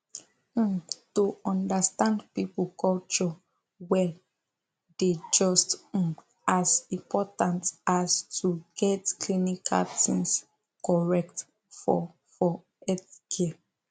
um to understand people culture well dey just um as important as to get clinical things correct for for healthcare